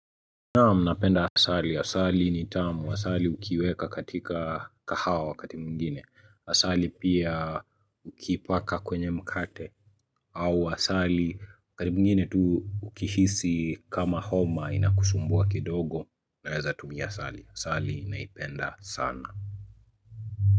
Naam napenda asali. Asali ni tamu. Asali ukiweka katika kahawa wakati mwingine. Asali pia ukiipaka kwenye mkate. Au asali wakati mwingine tu ukihisi kama homa inakusumbua kidogo unaeza tumia asali. Asali naipenda sana.